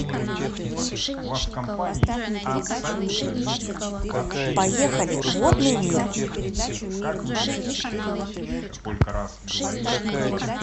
поехали водный мир